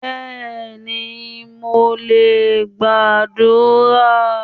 Béèni, mo lè gbàdúrà